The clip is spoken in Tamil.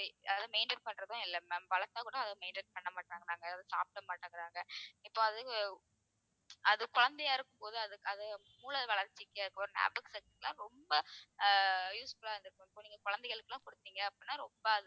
யாரும் maintain பண்றதும் இல்ல ma'am வளர்த்தா கூட அத maintain பண்ண மாட்டாங்குறாங்க அதை சாப்பிட மாட்டேங்குறாங்க இப்ப அது அது குழந்தையா இருக்கும்போது அது அது மூளைவளர்ச்சிக்கு அப்புறம் ஞாபகம் சக்திக்கு ரொம்ப ஆஹ் useful லா இருந்துருக்கும் இப்போ நீங்க குழந்தைகளுக்கு எல்லாம் கொடுத்தீங்க அப்படின்னா ரொம்ப